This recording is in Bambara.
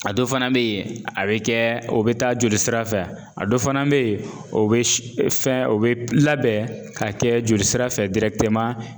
A dɔ fana be ye a bɛ kɛ o be taa joli sira fɛ. A dɔ fana be ye o be s fɛn o be p labɛn k'a kɛ joli sira fɛ